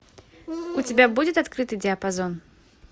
у тебя будет открытый диапазон